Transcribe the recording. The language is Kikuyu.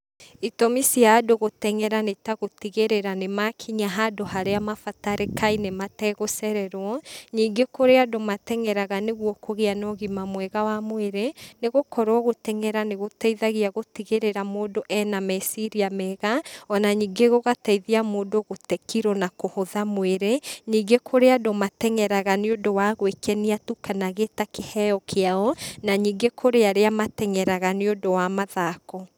Itũmi cia andũ gũtengera nĩtagũtigĩrĩra nĩmakinya handũ harĩa mabatarĩkaine mategũcererwo, ningĩ kũrĩ andũ matengeraga nĩguo kũgia na ũgima mwega wa mwĩrĩ, nĩgũkorwo gũtengera nĩgũteithagia gũtigĩrĩra mũndũ ena meciria mega, ona ningĩ gũgateithia mũndũ gũte kiro na kũhũtha mwĩrĩ. Ningĩ kũrĩ andũ matengeraga nĩũndũ wa gwakenia tu, kana gĩta kĩheo kĩao, na ningĩ kũrĩ arĩa matengeraga nĩ ũndũ wa mathako.